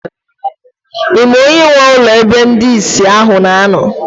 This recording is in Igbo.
Ị ma onye nwe ụlọ ebe ndị ìsì ahụ na-anọ?